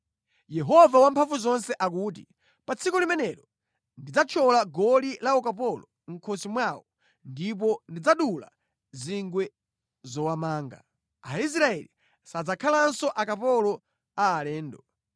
Yehova Wamphamvuzonse akuti, “Pa tsiku limenelo, ndidzathyola goli la ukapolo mʼkhosi mwawo ndipo ndidzadula zingwe zowamanga; Aisraeli sadzakhalanso akapolo a alendo.